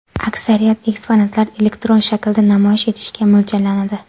Aksariyat eksponatlar elektron shaklda namoyish etishga mo‘ljallanadi.